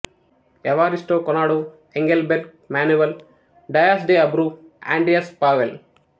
Evaristo Conrado Engelberg Manuel Dias de Abreu Andreas Powell